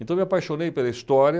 Então, eu me apaixonei pela história,